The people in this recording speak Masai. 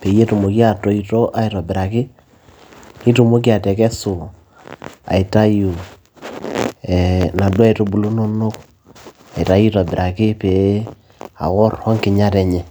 peyie etumoki atoito aitobiraki nitumoki atekesu aitayu ee naduo aitubulu inonok aitayu aitobiraki pee aworr onkinyat enye.